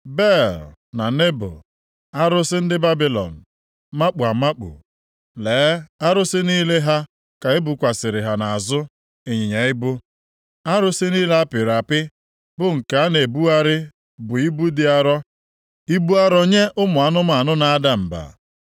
Bel na Nebo, arụsị ndị Babilọn makpu amakpu. Lee, arụsị niile ha ka ebukwasịrị ha nʼazụ ịnyịnya ibu. Arụsị niile apịrị apị bụ nke a na-ebugharị bụ ibu dị arọ, ibu arụ nye ụmụ anụmanụ na-ada mba!